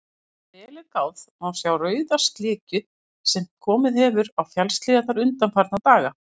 Ef vel er gáð, má sjá rauða slikju sem komið hefur á fjallshlíðarnar undanfarna daga.